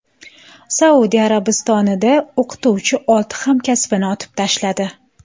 Saudiya Arabistonida o‘qituvchi olti hamkasbini otib tashladi.